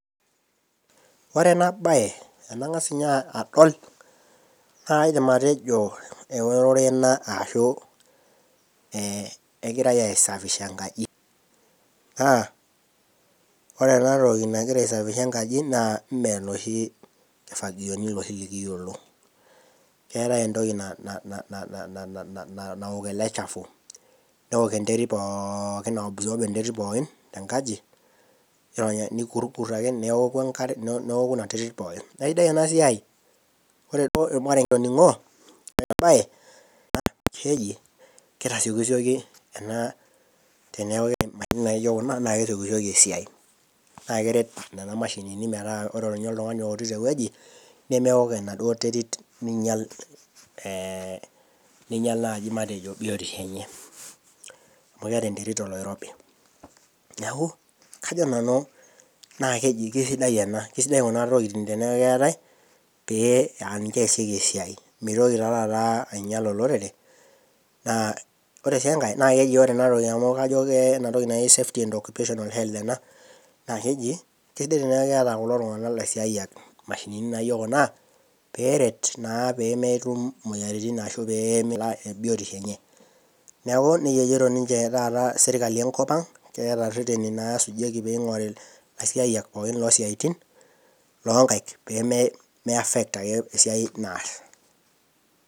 Ore ena baye, tanang'as ninye adol, naa kaidim atejo erore ena anaa kegirai aisafisha enkaji. Naa ore ena toki nagira aisafisha enkaji naa mee noshi kifagioni nekiyiolo. Keatai entoki naok ele chafu, neok eterit pooki aaoki ok enterit pooki tenkaji, neikurkur ake keoku enkare neoku ina are pooki. Naa aisidai ena siai , ore duo olmareng'e okitoning'o loatai naa keji, naa keitasioki sioki ena teneyauni intokitin naijo kuna naa kesiokisioki esiai, naa keret nena meashinini ninye metaa ore oltung'ani oorito ewueji, nemeok enaduo terit neinyal naaji matejo biotisho enye., yes amu keata enterit oloirobi. Neaku kajo nanu ekeji sidai ena keisidai kuna tokitin teneaku ekeatai, pee aa ninche easikii esiai, nemeitoki taa taata ainyal olorere. Ore sii enkai naa keji ore ena toki naa entoki naji safety and occupational role ena naa keji, sidai tanaa keata lelo tung'ana laisiayak imashinini naijo kuna, peeret naa pee metum imoyiaritin naijo kuna pee einyal biotisho enye, neaku neija ejoito ninche taata serkali enkop ang' naa ireteni naa loata pee esujieki ilaisiayak pae loo siaitin loonkaik, pee meiaffect ake esiai naas.